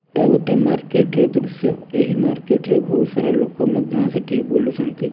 ଏଟା ଗୋଟିଏ ମାର୍କେଟ ର ଦୃଶ୍ୟ ଏହି ମାର୍କେଟ ରେ ବହୁତ ସାରା ଲୋକ ମଧ୍ୟ ସେଠି ବୁଲୁଛନ୍ତି।